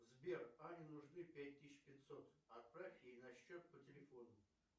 сбер ане нужны пять тысяч пятьсот отправь ей на счет по телефону